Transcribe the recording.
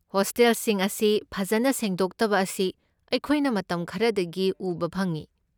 ꯍꯣꯁꯇꯦꯜꯁꯤꯡ ꯑꯁꯤ ꯐꯖꯅ ꯁꯦꯡꯗꯣꯛꯇꯕ ꯑꯁꯤ ꯑꯩꯈꯣꯏꯅ ꯃꯇꯝ ꯈꯔꯗꯒꯤ ꯎꯕ ꯐꯪꯏ꯫